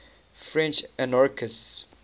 french anarchists